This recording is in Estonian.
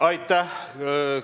Aitäh!